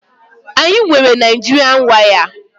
Anyị nwere Naijịrịa waya